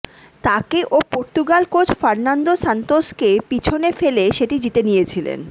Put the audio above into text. তাকে ও Portugal coach Fernando সান্তোসকে পেছনে ফেলে সেটি জিতে নিয়েছিলেন